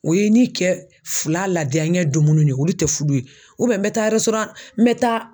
O ye i ni cɛ fila ladiyaɲɛ dumuni de ye, olu tɛ furu ye n bɛ taa n bɛ taa